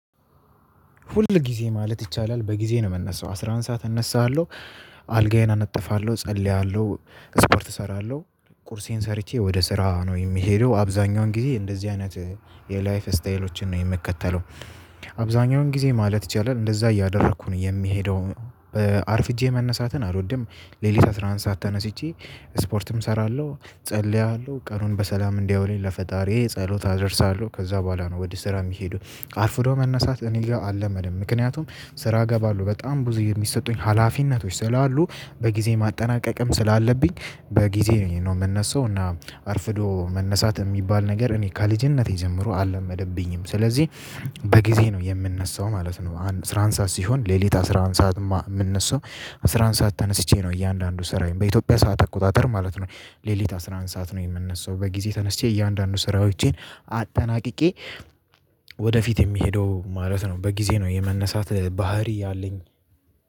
ሁል ጊዜ ማለት ይቻላል በጊዜ ነው የምነሳው አስራ አንድ ሰዓት እነሳሃለሁ። አልጋዬን አነጥፋለሁ እጸልያለሁ ስፖርት እሰራለሁ ቁርሴን ሰርቼ ወደ ስራ ነው የሚሄደው አብዛኛውን ጊዜ እንደዚህ አይነት የላይፍ ስታይሎችን ነው የምከተለው። አብዛኛውን ጊዜ ማለት ይቻላል እንደዛ እያደረኩ ነው የሚሄደው። አርፍጄ መነሳትን አልወድም። ሌሊት አስራ አንድ ሰዓት ተነስቼ ስፖርትም እሰራለሁ ጸልያለሁ ቀኑን በሰላም እንዲያውልኝ ለፈጣሪዬ ጸሎት አደርሳለሁ። ከዛ በኋላ ነው ወደ ስራ የሚሄደው። አርፍዶ መነሳት እኔ አልለመድም ምክንያቱም ስራ እገባለሁ በጣም ብዙ የሚሰጡኝ ሀላፊነቶች ስላሉ በጊዜ ማጠናቀቅም ስላለብኝ። በጊዜ ነው የምነሳው እና አርፍዶ መነሳት የሚባል ነገር እኔ ከልጅነቴ ጀምሮ አልመደብኝም። ስለዚህ በጊዜ ነው የምንነሳው ማለት ነው። አስራ አንድ ሰዓት ሲሆን ሌሊት አስራ አንድ ሰዓት የምንነሳው አስራ አንድ ሰዓት ተነስቼ ነው እያንዳንዱ ስራዬን በኢትዮጵያ ሰዓት አቆጣጠር ማለት ነው። ሌሊት አስራ አንድ ሰዓት ነው የምነሳው። በጊዜ ተነስቼ እያንዳንዱ ስራዎቼን አጠናቅቄ ወደፊት የሚሄደው ማለት ነው። በጊዜ ነው የመነሳት ባህሪ ያለኝ።